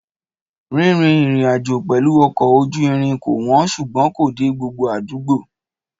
Rírìn ìrìnàjò pẹ̀lú ọkọ̀ ojú irin kò wọ́n ṣùgbọ́n kò dé gbogbo àdúgbò.